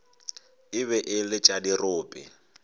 be e le tša dirope